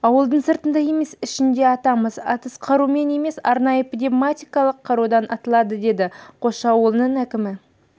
ауылдың сыртында емес ішінде атамыз атыс қаруымен емес арнайы пневматикалық қарудан атылады деді қосшы ауылының әкімі